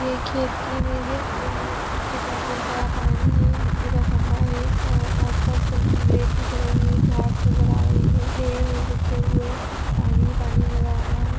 ये एक खेत की इमेज है और उसके पास बहुत सारा पानी है बिजली का खंभा है और आसपास रेड दिख रही है घास दिख रही है पेड़ है सूखे हुए पानी ही पानी नजर आ रही है।